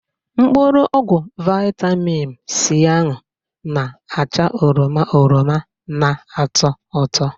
Mkpụrụ ọgwụ vitamim C ahụ na-acha oroma oroma na-ato ụtọ